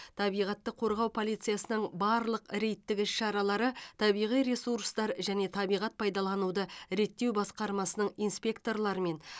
табиғатты қорғау полициясының барлық рейдтік іс шаралары табиғи ресурстар және табиғат пайдалануды реттеу басқармасының инспекторларымен